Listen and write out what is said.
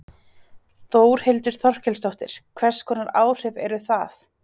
Þórhildur Þorkelsdóttir: Hvers konar áhrif eru það?